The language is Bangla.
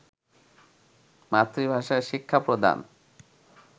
মাতৃভাষায় শিক্ষা প্রদান